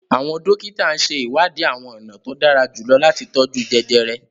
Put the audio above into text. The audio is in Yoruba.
Awọn dókítà n ṣe iwadi awọn ọna to dara julọ lati tọju jẹjẹrẹ